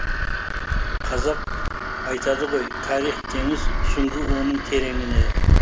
қазақ айтады ғой тарих теңіз сүңгі оның тереңіне